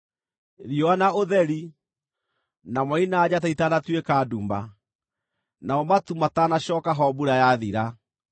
riũa na ũtheri, na mweri na njata ĩtanatuĩka nduma, namo matu matanacooka ho mbura yathira;